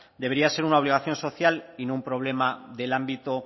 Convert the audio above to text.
debería ser una obligación social y no un problema del ámbito